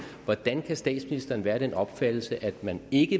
hvordan kan statsministeren være af den opfattelse at man ikke